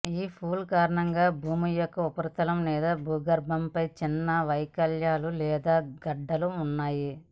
ఈ పుల్ కారణంగా భూమి యొక్క ఉపరితలం లేదా భూభాగంపై చిన్న వైకల్యాలు లేదా గడ్డలు ఉన్నాయి